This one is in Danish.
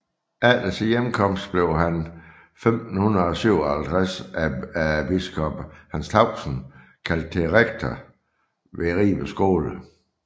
Efter sin hjemkomst blev han 1557 af biskop Hans Tausen kaldet til rektor ved Ribe Skole